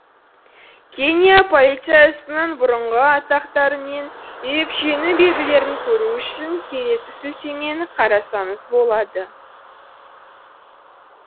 кения полициясының бұрынғы атақтары мен ерекшелену белгілерін көру үшін келесі сілтемені қарасаңыз болады